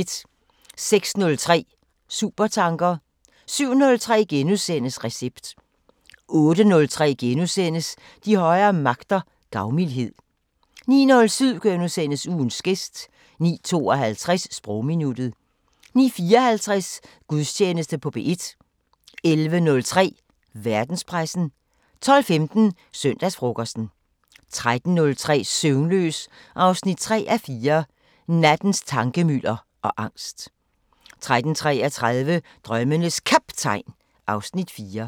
06:03: Supertanker 07:03: Recept * 08:03: De højere magter: Gavmildhed * 09:07: Ugens gæst * 09:52: Sprogminuttet 09:54: Gudstjeneste på P1 11:03: Verdenspressen 12:15: Søndagsfrokosten 13:03: Søvnløs 3:4 – Nattens tankemylder og angst 13:33: Drømmenes Kaptajn (Afs. 4)